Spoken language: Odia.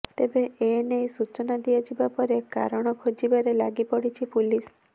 ତେବେ ଏ ନେଇ ସୂଚନା ଦିଆଯିବା ପରେ କାରଣ ଖୋଜିବାରେ ଲାଗି ପଡ଼ିଛି ପୁଲିସ